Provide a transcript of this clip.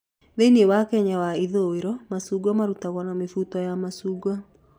Thĩinĩ wa Kenya ya ithũĩro, macungwa marutagwo na mũbuto wa macungwa.